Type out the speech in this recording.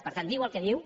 per tant diu el que diu